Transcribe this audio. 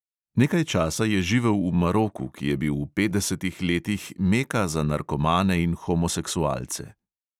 Nekaj časa je živel v maroku, ki je bil v petdesetih letih meka za narkomane in homoseksualce.